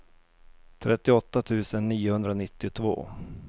trettioåtta tusen niohundranittiotvå